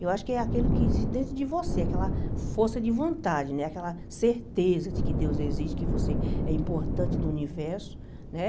Eu acho que é aquilo que existe dentro de você, aquela força de vontade, né aquela certeza de que Deus existe, que você é importante no universo né.